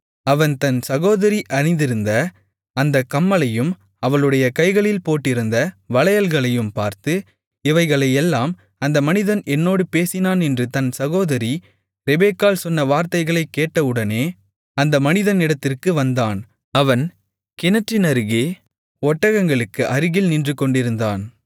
அவன் தன் சகோதரி அணிந்திருந்த அந்தக் கம்மலையும் அவளுடைய கைகளில் போட்டிருந்த வளையல்களையும் பார்த்து இவைகளையெல்லாம் அந்த மனிதன் என்னோடு பேசினானென்று தன் சகோதரி ரெபெக்காள் சொன்ன வார்த்தைகளைக் கேட்டவுடனே அந்த மனிதனிடத்திற்கு வந்தான் அவன் கிணற்றினருகே ஒட்டகங்களுக்கு அருகில் நின்றுகொண்டிருந்தான்